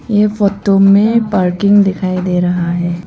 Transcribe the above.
यह फोटो में पार्किंग दिखाई दे रहा है।